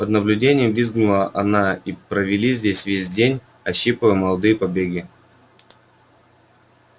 под наблюдением визгуна они провели здесь весь день ощипывая молодые побеги